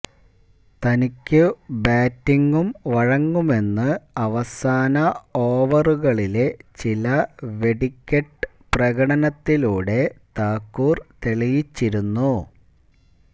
തനിക്കു ബാറ്റിങും വഴങ്ങുമെന്ന് അവസാന ഓവറുകളിലെ ചില വെടിക്കെട്ട് പ്രകടനത്തിലൂടെ താക്കൂര് തെളിയിച്ചിരുന്നു